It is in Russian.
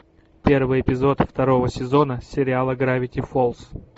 первый эпизод второго сезона сериала гравити фолз